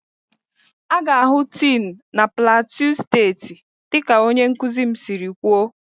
A ga-ahụ tin na plateau steeti dịka onye nkuzi m siri kwuo